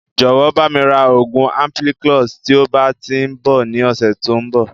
Jọ̀wọ́ bami ra oògùn ampiclox" tí ó bá tíì ń bọ̀ ni ọ̀sẹ̀ tòun bọ̀